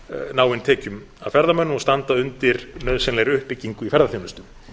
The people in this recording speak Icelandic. ná inn tekjum af ferðamönnum og standa undir nauðsynlegri uppbyggingu í ferðaþjónustu